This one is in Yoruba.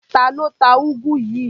Ta ló ta úgú yìí?